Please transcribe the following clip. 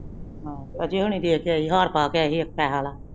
ਹਾਂ ਅਜੇ ਹੋਣੀ ਦੇਰ ਚ ਅਏ ਸੀ ਹਾਰ ਪਾਕੇ ਆਏ ਸੀ ਪੈਸੇ ਵਾਲਾ।